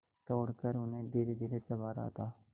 तोड़कर उन्हें धीरेधीरे चबा रहा था